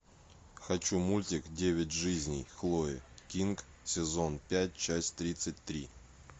хочу мультик девять жизней хлои кинг сезон пять часть тридцать три